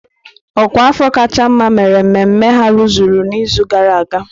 Ọkwa afọ kacha mma mere mmemme ha rụzuru n'izu gara aga.